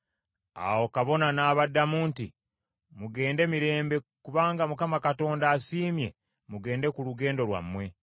Awo kabona n’abaddamu nti, “Mugende mirembe, kubanga Mukama Katonda asiimye mugende ku lugendo lwammwe.”